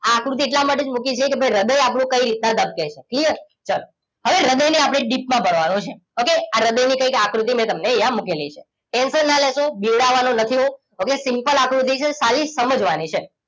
આ આકૃતિ એટલા માટે જ મૂકી છે કે ભઈ હ્રદય આપણું કઈ રીતના ધબકે છે ક્લિયર ચલો હવે હ્રદય ને આપણે ડીપ માં ભણવાનું છે ઓકે આ હ્રદય ની કઈક આકૃતિ મેંતમને અહિયાં મુકે લીછે ટેન્શન ના લેશો બીવરાવાનો નથી હું હવે સિમ્પલ આકૃતિ છે ખાલી સમજવા ની છે